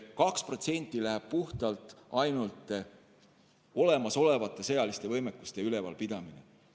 2% läheb puhtalt olemasolevate sõjaliste võimekuste ülevalpidamisele.